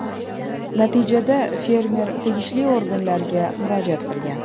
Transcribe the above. Natijada fermer tegishli organlarga murojaat qilgan.